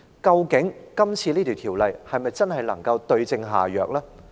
究竟《條例草案》能否真正對症下藥？